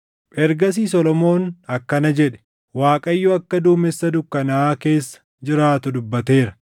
Ergasii Solomoon akkana jedhe; “ Waaqayyo akka duumessa dukkanaaʼaa keessa jiraatu dubbateera;